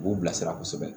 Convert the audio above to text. K'u bilasira kosɛbɛ